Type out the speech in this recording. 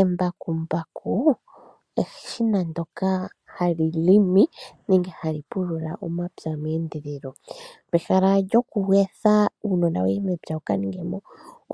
Embakumbaku eshina ndyoka hali limi nenge hali pulula omapya meendelelo. Pehala lyoku etha uunona wuye mepya wuka ninge mo